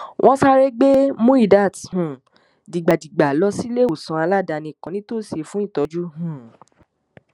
wọn sáré gbé muidat um dìgbàgbìgbà lọ síléèwòsàn aládàáni kan nítòsí fún ìtọ́jú um